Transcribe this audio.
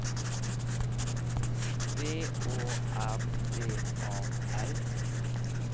V Å R D A L